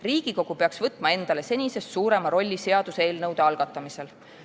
Riigikogu peaks võtma endale senisest suurema rolli seaduseelnõude algatamisel.